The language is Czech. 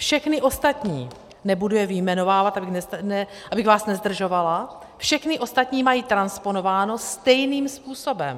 Všechny ostatní, nebudu je vyjmenovávat, abych vás nezdržovala, všechny ostatní mají transponováno stejným způsobem.